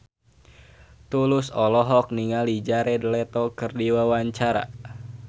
Tulus olohok ningali Jared Leto keur diwawancara